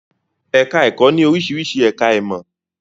Ẹ̀ká ẹ̀kọ́ ní oríṣiríṣi ẹ̀ká ìmọ̀